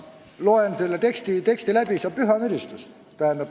Lugesin selle teksti läbi – sa püha müristus!